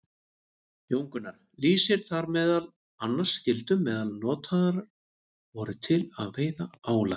Jón Gunnar lýsir þar meðal annars gildrum sem notaðar voru til að veiða ála.